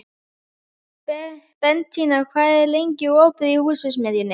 Bentína, hvað er lengi opið í Húsasmiðjunni?